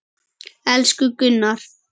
Elsku Gunnar.